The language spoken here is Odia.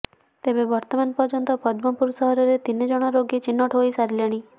ତେବେ ବର୍ତ୍ତମାନ ପର୍ଯ୍ୟନ୍ତ ପଦ୍ମପୁର ସହରରେ ତିନିଜଣ ରୋଗୀ ଚିହ୍ନଟ ହୋଇସାରିଲେଣି